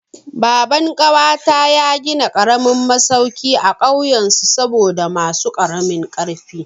Baban ƙawata ya gina karamin masauki a kauyen su saboda masu karamin ƙarfi.